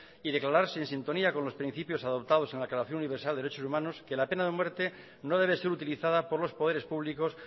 y declararse en sintonía con los principios adoptados en la declaración universal de derechos humanos que la pena de muerte no debe ser utilizada por los poderes públicos